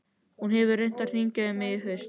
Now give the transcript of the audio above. Hún hefur reynt að hringja í mig í haust.